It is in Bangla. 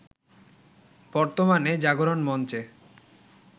বর্তমানে জাগরণ মঞ্চে